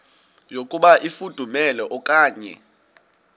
yokuba ifudumele okanye